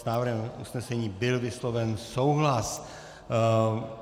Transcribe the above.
S návrhem usnesení byl vysloven souhlas.